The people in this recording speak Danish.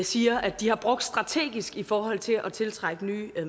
siger at de har brugt strategisk i forhold til at tiltrække nye